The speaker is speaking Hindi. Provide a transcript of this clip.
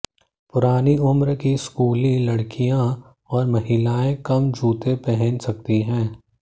पुरानी उम्र की स्कूली लड़कियां और महिलाएं कम जूते पहन सकती हैं